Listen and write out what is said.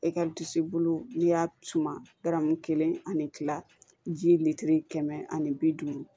E ka disi bolo n'i y'a suma garamu kelen ani kila ji kɛmɛ ani bi duuru